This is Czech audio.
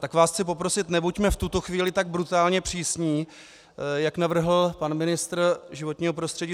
Tak vás chci poprosit, nebuďme v tuto chvíli tak brutálně přísní, jak navrhl pan ministr životního prostředí.